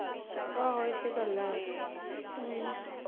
ਆਹੋ ਇਹ ਤੇ ਗੱਲ ਹੈ ਹਮ